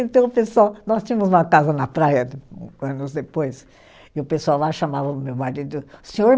Então, o pessoal, nós tínhamos uma casa na praia de, anos depois, e o pessoal lá chamava o meu marido, senhor